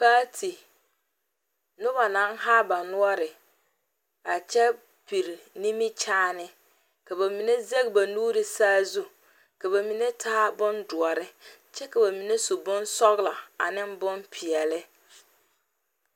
paati, Noba naŋ haa ba noɔre a kyɛ piri nimikyaane ka ba mine zage ba nuuri sazu ka ba mine taa bondoɔre kyɛ ka ba mine su bonsɔglɔ ane bonpɛɛle